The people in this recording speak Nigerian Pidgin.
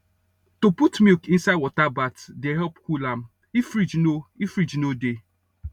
to put milk inside water bath dey help cool am if fridge no if fridge no dey